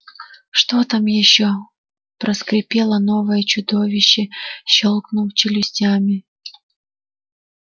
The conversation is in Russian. что там ещё проскрипело новое чудище щёлкнув челюстями